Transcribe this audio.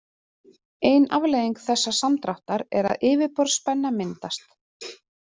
Ein afleiðing þessa samdráttar er að yfirborðsspenna myndast.